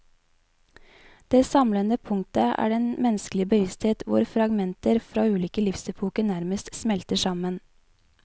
Det samlende punktet er den menneskelige bevissthet hvor fragmenter fra ulike livsepoker nærmest smelter sammen.